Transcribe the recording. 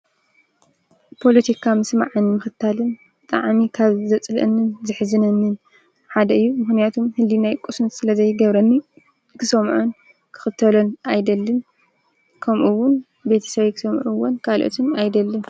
ጶሎቲካ ምስማዕን ምኽታልን ጠዓሚ ካብ ዘጽልአንን ዘኅዝነንን ሓደ እዩ ምህንያቱም ህሊ ናይ ቊስን ስለ ዘይገብረኒ ክሰምዖን ክኽተለን ኣይደልን ከምኡውን ቤተ ሰበይ ክሰምዑዎን ቃልኦትን ኣይደልን።